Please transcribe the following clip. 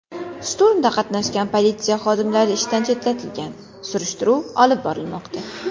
Shturmda qatnashgan politsiya xodimlari ishdan chetlatilgan, surishtiruv olib borilmoqda.